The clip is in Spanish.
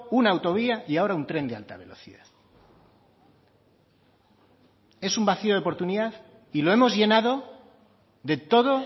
una autovía y ahora un tren de alta velocidad es un vacío de oportunidad y lo hemos llenado de todo